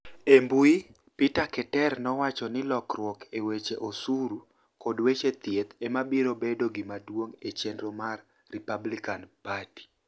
E mbui, Peter Keter nowacho nii lokruok e weche osuru kod weche thieth ema biro bedo gimaduonig' e cheniro mar Republicani Party.